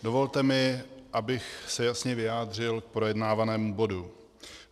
Dovolte mi, abych se jasně vyjádřil k projednávanému bodu.